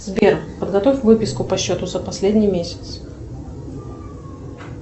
сбер подготовь выписку по счету за последний месяц